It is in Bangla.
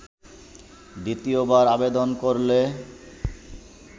দ্বিতীয়বার আবেদন করলে